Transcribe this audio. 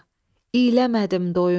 iləmədim doyunca.